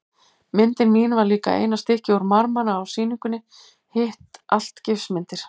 Myndin mín var líka eina stykkið úr marmara á sýningunni, hitt allt gifsmyndir.